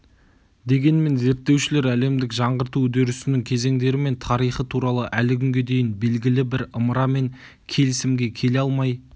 дегенмен зерттеушілер әлемдік жаңғырту үдерісінің кезеңдері мен тарихы туралы әлі күнге дейін белгілі бір ымыра мен келісімге келе алмай